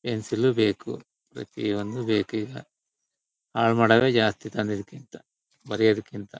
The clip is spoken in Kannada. ಪೆನ್ಸಿಲ್ ಲು ಬೇಕು ಪ್ರತಿಯೊಂದು ಬೇಕೀಗ ಹಾಲ್ ಮಾಡುವೆ ಜಾಸ್ತಿ ತಂದಿದಿಕ್ಕಿಂತ ಬರೆಯೋದಕ್ಕಿಂತ.